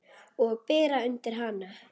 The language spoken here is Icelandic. Og bera undir hana.